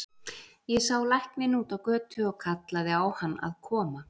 Ég sá lækninn úti á götu og kallaði á hann að koma.